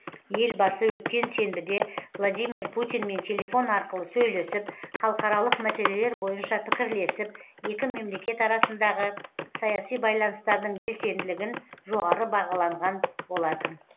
елбасы өткен сенбіде владимир путинмен телефон арқылы сөйлесіп халықаралық мәселелер бойынша пікірлесіп екі мемлекет арасындағы саяси байланыстардың белсенділігін жоғары бағаланған болатын